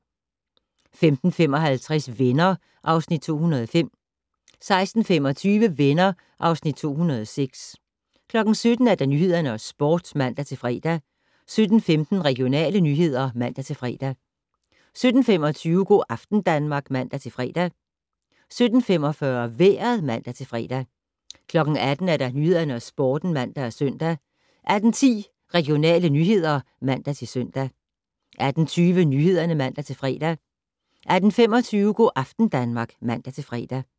15:55: Venner (Afs. 205) 16:25: Venner (Afs. 206) 17:00: Nyhederne og Sporten (man-fre) 17:15: Regionale nyheder (man-fre) 17:25: Go' aften Danmark (man-fre) 17:45: Vejret (man-fre) 18:00: Nyhederne og Sporten (man-søn) 18:10: Regionale nyheder (man-søn) 18:20: Nyhederne (man-fre) 18:25: Go' aften Danmark (man-fre)